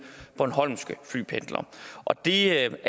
bornholmske flypendlere og det